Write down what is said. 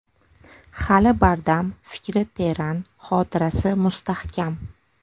Hali bardam, fikri teran, xotirasi mustahkam.